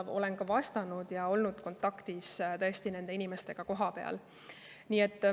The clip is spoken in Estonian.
Olen sellele ka vastanud ja tõesti olnud kontaktis nende inimestega kohapeal.